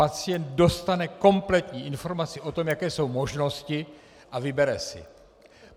Pacient dostane kompletní informaci o tom, jaké jsou možnosti, a vybere si.